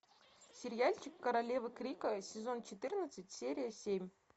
сериальчик королевы крика сезон четырнадцать серия семь